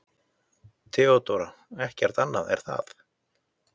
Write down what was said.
THEODÓRA: Ekkert annað, er það?